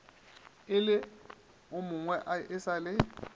e lemogwe e sa le